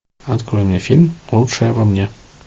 открой мне фильм лучшее во мне